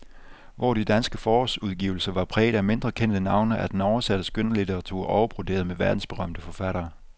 Hvor de danske forårsudgivelser var præget af mindre kendte navne, er den oversatte skønlitteratur overbroderet med verdensberømte forfattere.